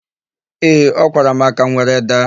Ee, ọ kwara m aka, m were daa.